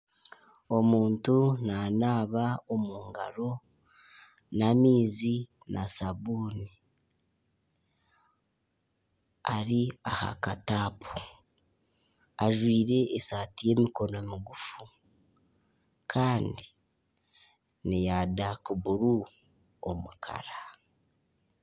Omuntu nanaaba omu ngaro n'amaizi na sabuuni, ari aha kataapu ajwire esaati y'emikono migufu kandi n'eya daaka buru omu kara